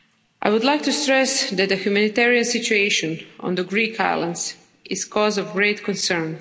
I would like to stress that the humanitarian situation on the Greek islands is a cause of great concern.